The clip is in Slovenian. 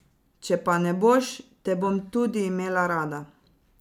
Če pa ne boš, te bom tudi imela rada.